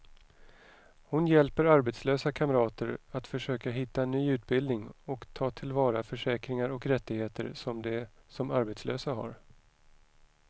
Hon hjälper arbetslösa kamrater att försöka hitta ny utbildning och ta till vara försäkringar och rättigheter som de som arbetslösa har.